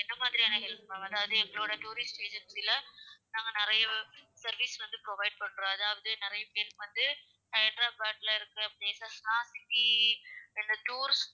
எந்த மாதிரியான help வேணும் அதாவது எங்களோட tourist agency ல நாங்க நெறைய service வந்து provide பண்றோம். அதாவது நெறைய பேருக்கு வந்து ஹைதராபாத்ல இருக்குற places லாம் சுத்தி எங்க tour.